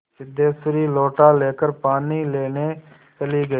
सिद्धेश्वरी लोटा लेकर पानी लेने चली गई